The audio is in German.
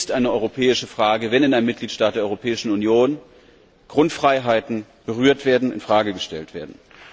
Es ist eine europäische Frage, wenn in einem Mitgliedstaat der Europäischen Union Grundfreiheiten berührt und in Frage gestellt werden.